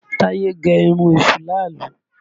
Táyé gẹ irun èṣù láàálú